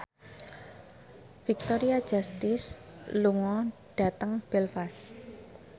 Victoria Justice lunga dhateng Belfast